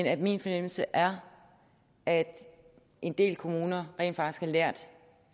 at min fornemmelse er at en del kommuner rent faktisk har lært